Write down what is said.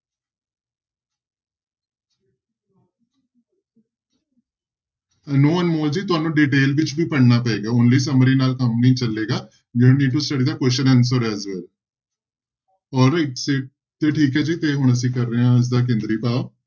No Anmol ji ਤੁਹਾਨੂੰ detail ਵਿੱਚ ਵੀ ਪੜ੍ਹਨਾ ਪਏਗਾ only summary ਨਾਲ ਕੰਮ ਨਹੀਂ ਚੱਲੇਗਾ question answer alright ਤੇ ਤੇ ਠੀਕ ਹੈ ਜੀ ਤੇ ਹੁਣ ਅਸੀਂ ਕਰ ਰਹੇ ਹਾਂ ਇਸਦਾ ਕੇਂਦਰੀ ਭਾਵ।